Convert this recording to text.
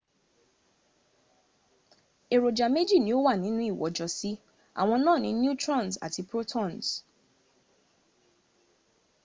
èròjà méjì ní ó wà ninú ìwọ́jọsí àwọn náà ni neutrons àti protons